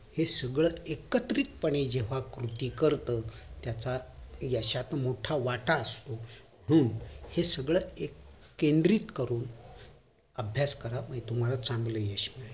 हे सगळं एकत्रित पणे जेंव्हा कृती करत त्याच्यात यशात मोठा वाटा असतो हम्म हे सगळं केंद्रित करून अभ्यास करा म्हणजे तुम्हाला चांगलं यश मिळेल